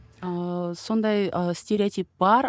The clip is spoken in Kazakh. ыыы сондай ы стереотип бар